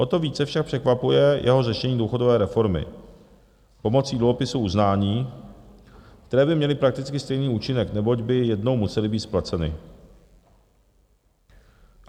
O to více však překvapuje jeho řešení důchodové reformy pomocí dluhopisů uznání, které by měly prakticky stejný účinek, neboť by jednou musely být splaceny.